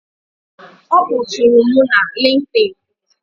Ọ kpọtụụrụ m na LinkedIn.